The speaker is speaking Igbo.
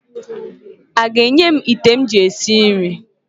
O ga-enye m ite m ji esi nri?